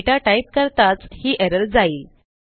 दाता type करताच ही errorजाईल